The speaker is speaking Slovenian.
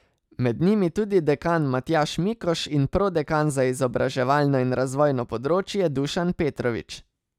Med njimi tudi dekan Matjaž Mikoš in prodekan za izobraževalno in razvojno področje Dušan Petrovič.